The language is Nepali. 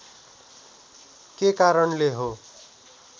के कारणले हो